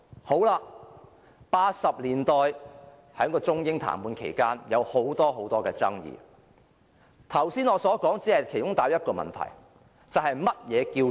在1980年代中英談判期間有很多爭議，我剛才所說的只帶出其中的一個問題，就是何謂選票？